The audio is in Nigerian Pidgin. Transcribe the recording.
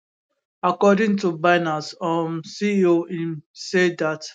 according to binance um ceo im say dat